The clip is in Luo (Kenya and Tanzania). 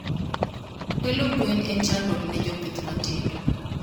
Kwelo gwen en chandruok ne jopith matindo.